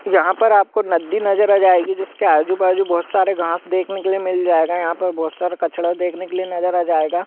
यहाँ पर आपको नदी नज़र आ जाएगी जिसके आजु-बाजु बहुत सारे घास देखने के लिए मिल जाएगा यहाँ पर बहुत सारा कचड़ा देखने के लिए नजर आ जाएगा।